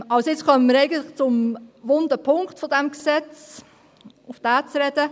Nun kommen wir eigentlich auf den wunden Punkt dieses Gesetzes zu sprechen.